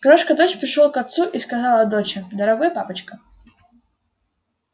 крошка дочь пришёл к отцу и сказала доча дорогой папочка